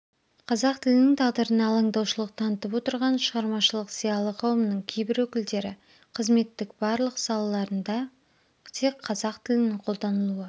қазақ тілінің тағдырына алаңдаушылық танытып отырған шығармашылық зиялы қауымның кейбір өкілдері қызметтік барлық салаларында тек қазақ тілінің қолданылуы